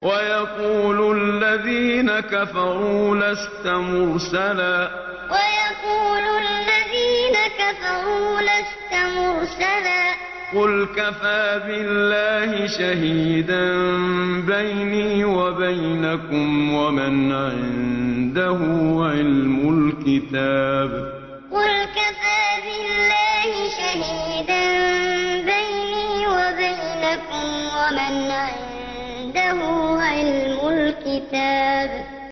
وَيَقُولُ الَّذِينَ كَفَرُوا لَسْتَ مُرْسَلًا ۚ قُلْ كَفَىٰ بِاللَّهِ شَهِيدًا بَيْنِي وَبَيْنَكُمْ وَمَنْ عِندَهُ عِلْمُ الْكِتَابِ وَيَقُولُ الَّذِينَ كَفَرُوا لَسْتَ مُرْسَلًا ۚ قُلْ كَفَىٰ بِاللَّهِ شَهِيدًا بَيْنِي وَبَيْنَكُمْ وَمَنْ عِندَهُ عِلْمُ الْكِتَابِ